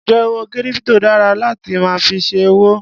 Njẹ owó kírípítò dára láti máa fi ṣe òwò?